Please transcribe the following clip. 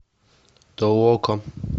толока